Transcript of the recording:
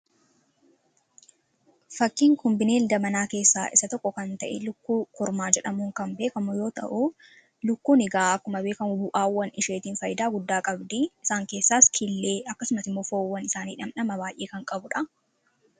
fakkiin kun bineensa manaa keessaa isa tokko kan ta'e lukkuu kormaa jedhamuun kan beekamu yoo ta'uu lukkuun higaa akkuma beekamuu bu'aawwan isheetiin faayidaa guddaa qabdii isaan keessaas killee akkasumati mofawwan isaanii dhamdhama baay'ee kan qabuudha.